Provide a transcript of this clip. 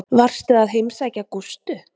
Varstu að heimsækja Gústu?